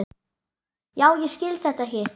Já, ég skil þetta ekki.